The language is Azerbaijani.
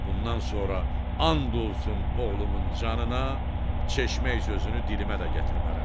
Bundan sonra and olsun oğlumun canına, çeşmək sözünü dilimə də gətirmərəm.